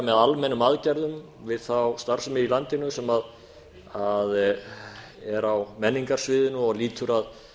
með almennum aðgerðum við þá starfsemi í landinu sem er á menningarsviðinu og lýtur að